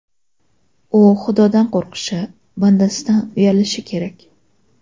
U Xudodan qo‘rqishi, bandasidan uyalishi kerak.